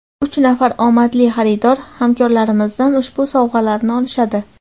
Uch nafar omadli xaridor hamkorlarimizdan ushbu sovg‘alarni olishadi.